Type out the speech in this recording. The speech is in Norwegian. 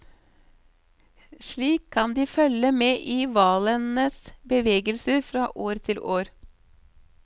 Slik kan de følge med i hvalenes bevegelser fra år til år.